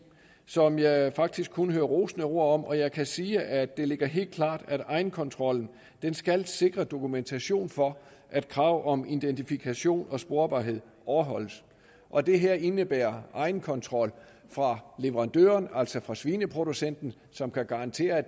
som jeg faktisk kun hører rosende ord om jeg kan sige at det ligger helt klart at egenkontrollen skal sikre dokumentation for at krav om identifikation og sporbarhed overholdes og det her indebærer egenkontrol fra leverandøren altså fra svineproducenten som kan garantere at